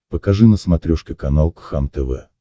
покажи на смотрешке канал кхлм тв